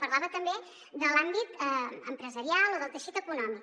parlava també de l’àmbit empresarial o del teixit econòmic